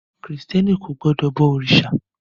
Krìstẹ́ni kò gbọdọ̀ bọ òrìṣà.